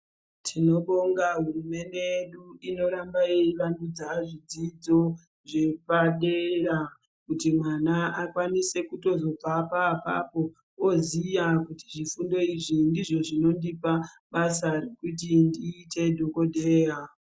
Tinobonga hurumende yedu inoramba yeyi vandudza zvidzidzo zvepadera kuti mwana akwanise kutozobvapo apapo oziya kuti zvifundo izvi ndizvo zvinondipa basa kuti ndiite dhokodheya.